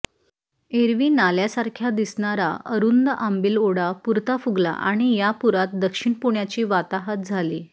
एरवी नाल्यासारख्या दिसणारा अरुंद आंबिल ओढा पुरता फुगला आणि या पुरात दक्षिण पुण्याची वाताहात झाली